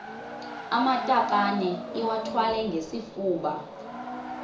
amatakane iwathwale ngesifuba